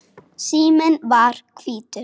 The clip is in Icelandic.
Síminn var hvítur.